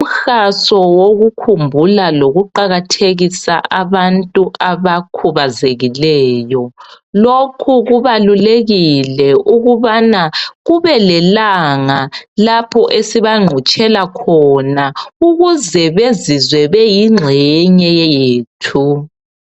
Uhaso wokukhumbala lokuqakathekisa abantu abakhubazekileyo. Lokhu kubalulekile ukubana kube lelanga lapho esibangqutshela khona ukuze bezizwe beyingxenye yethu.